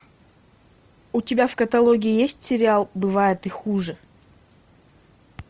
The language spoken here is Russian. у тебя в каталоге есть сериал бывает и хуже